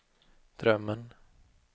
drömmen